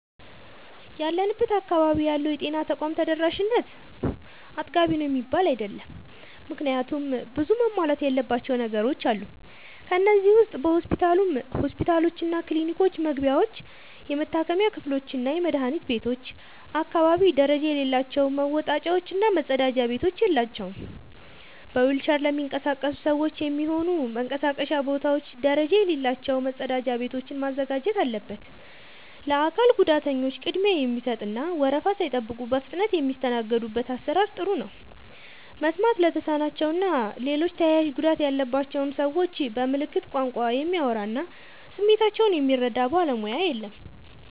ያለንበት አካባቢ ያለው የጤና ተቋም ተደራሽነት አጥጋቢ ነው የሚባል አይደለም። ምክንያቱም ብዙ መሟላት ያለባቸው ነገሮች አሉ። ከነዚህ ዉስጥ በሁሉም ሆስፒታሎችና ክሊኒኮች መግቢያዎች፣ የመታከሚያ ክፍሎችና የመድኃኒት ቤቶች አካባቢ ደረጃ የሌላቸው መወጣጫዎች እና መጸዳጃ ቤቶች የላቸውም። በዊልቸር ለሚንቀሳቀሱ ሰዎች የሚሆኑ መንቀሳቀሻ ቦታዎች ደረጃ የሌላቸው መጸዳጃ ቤቶችን ማዘጋጀት አለበት። ለአካል ጉዳተኞች ቅድሚያ የሚሰጥ እና ወረፋ ሳይጠብቁ በፍጥነት የሚስተናገዱበት አሰራር ጥሩ ነው። መስማት ለተሳናቸው እና ሌሎች ተያያዥ ጉዳት ያለባቸውን ሰዎች በምልክት ቋንቋ የሚያወራ እና ስሜታቸውን የሚረዳ ባለሙያ የለም።